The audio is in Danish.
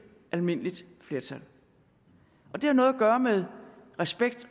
almindeligt flertal det har noget at gøre med respekt